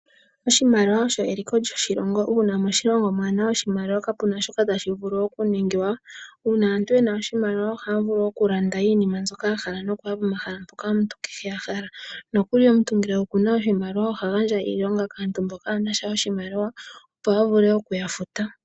Oshimaliwa osho eliko lyoshilongo. Uuna moshilongo mwaa na oshimaliwa kapu na shoka tashi vulu okuningwa. Uuna aantu ye na oshimaliwa ohaya vulu okulanda iinima mbyoka ya hala nokuya pomahala mpoka ya hala. Nokuli omuntu ngele oku na oshimaliwa oha gandja iilonga kaantu mboka kaaye na sha oshimaliwa, opo a vule okuya futa.